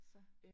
Så